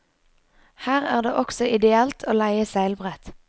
Her er det også ideelt å leie seilbrett.